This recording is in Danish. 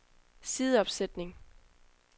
sideopsætning